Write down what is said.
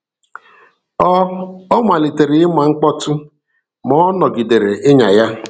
Ọ, Ọ malitere ịma mkpọtụ, ma ọ nọgidere ịnya ya.